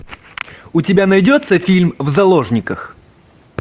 у тебя найдется фильм в заложниках